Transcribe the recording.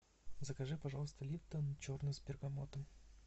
закажи пожалуйста липтон черный с бергамотом